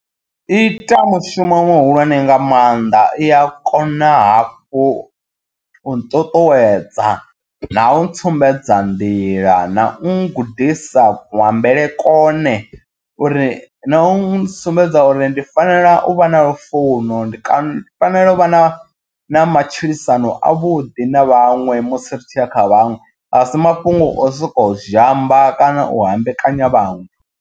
I ita mushumo muhulwane nga maanḓa i a kona hafhu u nṱuṱuwedza na u ntsumbedza nḓila na u gudisa kuambele kone uri na u sumbedza uri ndi fanela u vha na lufuno, ndi fanela u vha na na matshilisano a vhuḓi na vhaṅwe musi ri tshi a kha vhaṅwe asi mafhungo o soko zhamba kana u hambekanya vhaṅwe.